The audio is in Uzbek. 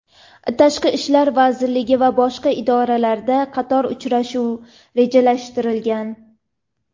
Tashqi ishlar vazirligi va boshqa idoralarda qator uchrashuv rejalashtirilgan.